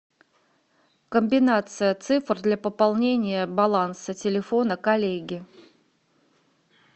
комбинация цифр для пополнения баланса телефона коллеги